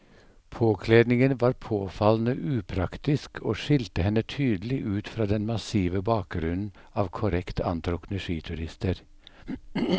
Påkledningen var påfallende upraktisk og skilte henne tydelig ut fra den massive bakgrunnen av korrekt antrukne skiturister.